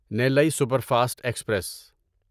نیلی superfast express